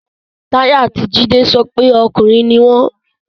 Tayo ati Jide sọ pe arakunrin ni wọn